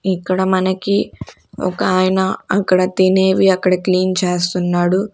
ఇక్కడ మనకి ఒకాయన అక్కడ తినేవి అక్కడ క్లీన్ చేస్తన్నాడు.